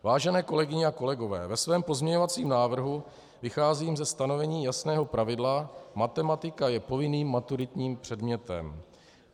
Vážené kolegyně a kolegové, ve svém pozměňovacím návrhu vycházím ze stanovení jasného pravidla: Matematika je povinným maturitním předmětem.